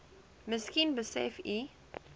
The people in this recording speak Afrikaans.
miskien besef u